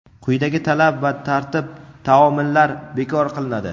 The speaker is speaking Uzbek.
quyidagi talab va tartib-taomillar bekor qilinadi:.